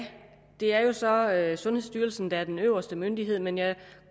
det er jo så sundhedsstyrelsen der er den øverste myndighed men jeg